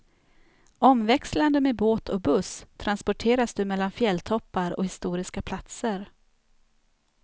Omväxlande med båt och buss transporteras du mellan fjälltoppar och historiska platser.